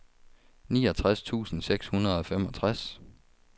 niogtres tusind seks hundrede og femogtres